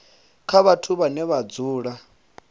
kha vhathu vhane vha dzula